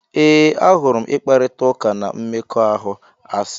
Ee, ahụrụ m ịkparịta ụka n' mmekọahụ asị.